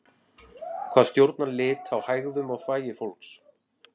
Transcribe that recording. hvað stjórnar lit á hægðum og þvagi fólks